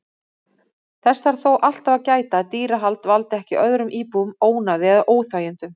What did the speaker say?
Þess þarf þó alltaf að gæta að dýrahald valdi ekki öðrum íbúum ónæði eða óþægindum.